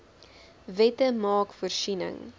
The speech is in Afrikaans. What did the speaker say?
wette maak voorsiening